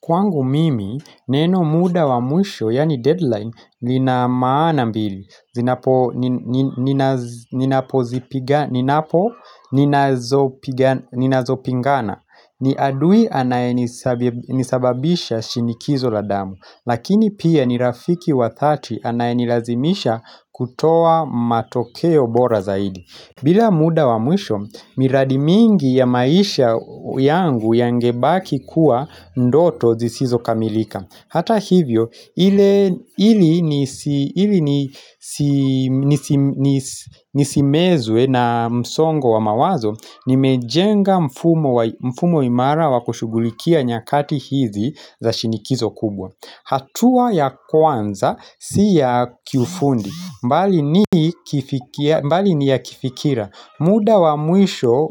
Kwangu mimi, neno muda wa mwisho, yani deadline, lina maana mbili, ninapo ninazo pingana, ni adui anayenisababisha shinikizo la damu, lakini pia nirafiki wa dhati anayenilazimisha kutoa matokeo bora zaidi. Bila muda wa mwisho, miradi mingi ya maisha yangu yangebaki kuwa ndoto zisizo kamilika. Hata hivyo, ili nisimezwe na msongo wa mawazo, nimejenga mfumo imara wa kushugulikia nyakati hizi za shinikizo kubwa. Hatua ya kwanza si ya kiufundi bali ni ya kifikira muda wa mwisho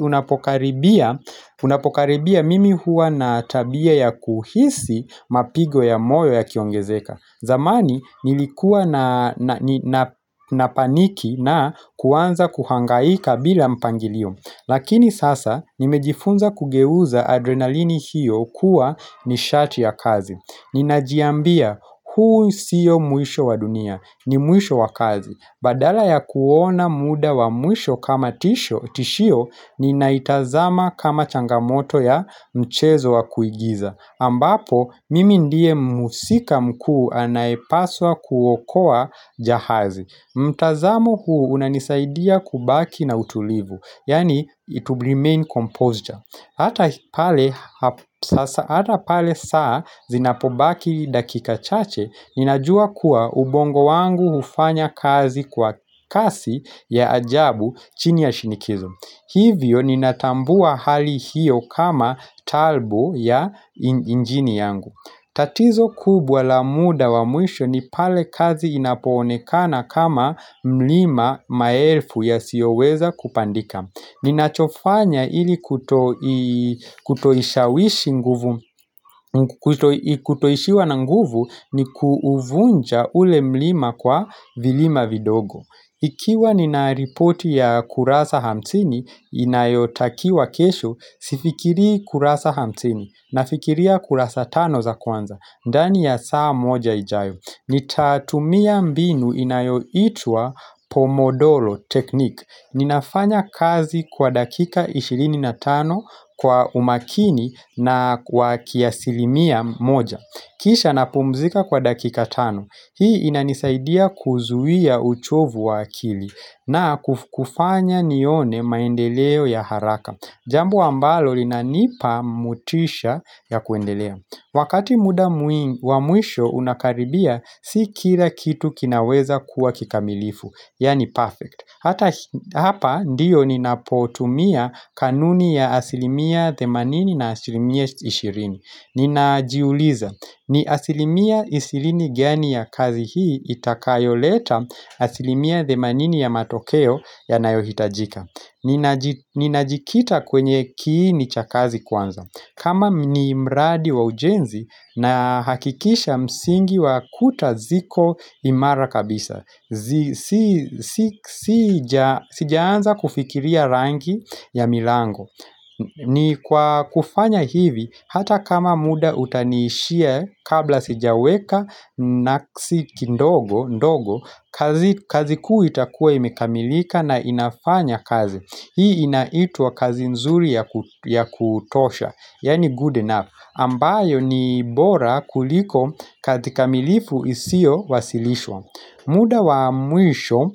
unapokaribia Unapokaribia mimi huwa na tabia ya kuhisi Mapigo ya moyo yakiongezeka. Zamani nilikuwa napaniki na kuanza kuhangaika bila mpangilio Lakini sasa nimejifunza kugeuza adrenalini hiyo kuwa nishati ya kazi. Ninajiambia huu sio mwisho wa dunia. Ni muisho wa kazi. Badala ya kuona muda wa mwisho kama tisho tishio ninaitazama kama changamoto ya mchezo wa kuigiza ambapo mimi ndiye muhusika mkuu anayepaswa kuokoa jahazi. Mtazamo huu unanisaidia kubaki na utulivu yani to remain composed ja. Hata Hata pale saa zinapobaki dakika chache, ninajua kuwa ubongo wangu hufanya kazi kwa kasi ya ajabu chini ya shinikizo. Hivyo, ninatambua hali hiyo kama turbo ya injini yangu. Tatizo kubwa la muda wa mwisho ni pale kazi inapoonekana kama mlima maelfu yasiyo weza kupandika. Ninachofanya ili kutoishawishi nguvu, kutoishiwa na nguvu ni kuuvunja ule mlima kwa vilima vidogo Ikiwa nina ripoti ya kurasa hamsini inayotakiwa kesho, Sifikirii kurasa hamsini nafikiria kurasa tano za kwanza ndani ya saa moja ijayo Nitatumia mbinu inayoitwa Pomodoro Technique Ninafanya kazi kwa dakika ishirini na tano kwa umakini na kwa kiasilimia moja Kisha napumzika kwa dakika tano. Hii inanisaidia kuzuia uchovu wa akili na kufanya nione maendeleo ya haraka Jambo ambalo lina nipa motisha ya kuendelea. Wakati muda wa mwisho unakaribia, Si kila kitu kinaweza kuwa kikamilifu. Yaani perfect Hata hapa ndiyo ninapotumia kanuni ya asilimia themanini na asilimia ishirini Ninajiuliza ni asilimia ishirini gani ya kazi hii itakayo leta asilimia themanini ya matokeo ya nayohitajika Ninajikita kwenye kiini cha kazi kwanza kama ni mradi wa ujenzi, nahakikisha msingi wa kuta ziko imara kabisa sijaanza kufikiria rangi ya milango ni kwa kufanya hivi hata kama muda utaniishia kabla sijaweka na si kidogo ndogo kazi kuu itakuwa imekamilika na inafanya kazi. Hii inaitwa kazi nzuri ya kutosha Yaani good enough ambayo ni bora kuliko kazi kamilifu isio wasilishwa muda wa mwisho,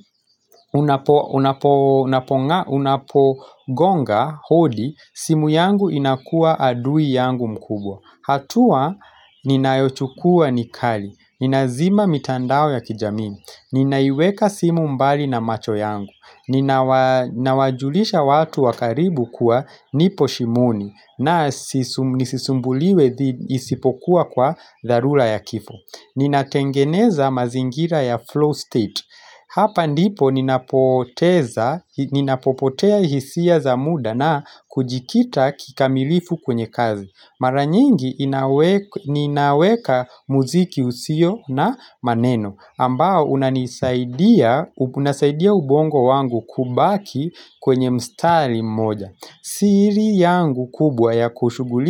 unapogonga hodi simu yangu inakuwa adui yangu mkubwa. Hatua ninayochukua ni kali, ninazima mitandao ya kijami Ninaiweka simu mbali na macho yangu Ninawajulisha watu wa karibu kuwa nipo shimoni. Na nisisumbuliwe isipokuwa kwa dharura ya kifo Ninatengeneza mazingira ya flow state Hapa ndipo ninapoteza, ninapopotea hisia za muda na kujikita kikamilifu kwenye kazi. Mara nyingi ninaweka muziki usio na maneno ambao unanisaidia unasaidia ubongo wangu kubaki kwenye mstari mmoja siri yangu kubwa ya kushughulika.